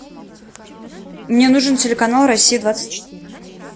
мне нужен телеканал россия двадцать четыре